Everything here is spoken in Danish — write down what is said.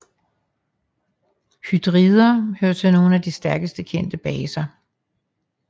Hydrider hører til nogle af de stærkeste kendte baser